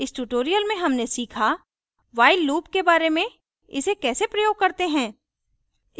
इस tutorial में हमने सीखा